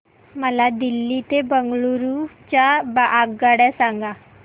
मला दिल्ली ते बंगळूरू च्या आगगाडया सांगा